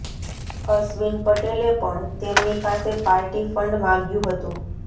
અશ્વિન પટેલે પણ તેમની પાસે પાર્ટી ફંડ માંગ્યુ હતું